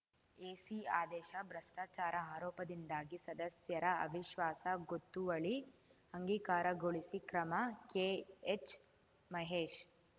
AC ಆದೇಶ ಭ್ರಷ್ಟಾಚಾರ ಆರೋಪದಿಂದಾಗಿ ಸದಸ್ಯರ ಅವಿಶ್ವಾಸ ಗೊತ್ತುವಳಿ ಅಂಗೀಕಾರಗೊಳಿಸಿ ಕ್ರಮ ಕೆಎಚ್‌ ಮಹೇಶ್‌